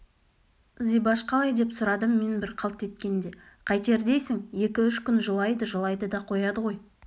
зибаш қалай деп сұрадым мен бір қалт еткенде қайтер дейсің екі-үш күн жылайды-жылайды да қояды ғой